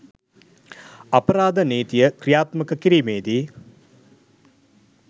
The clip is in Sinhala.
අපරාධ නීතිය ක්‍රියාත්මක කිරීමේදී